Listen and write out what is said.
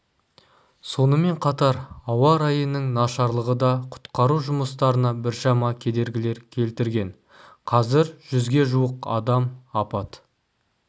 сонымен қатар ауа райының нашарлығы да құтқару жұмыстарына біршама кедергілер келтірген қазір жүзге жуық адам апат